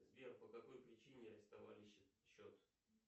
сбер по какой причине арестовали счет